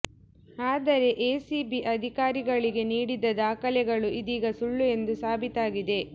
ಆದರೆ ಎಸಿಬಿ ಅಧಿಕಾರಿಗಳಿಗೆ ನೀಡಿದ್ದ ದಾಖಲೆಗಳು ಇದೀಗ ಸುಳ್ಳು ಎಂದು ಸಾಬೀತಾಗಿದೆ